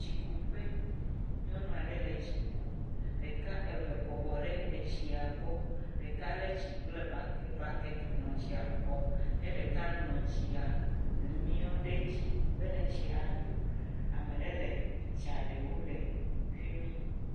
Tsikuƒe. Nyɔnua ɖe le tsi kum, ɖeka eve bɔbɔ ɖe etsia gbɔ, ɖeka le tsi kple buket nɔ tsia xɔm, ɖeka nɔ etsia mɔe ɖe edzi be na tsia ado. Ame ɖe le picture ɖe wo le fimi.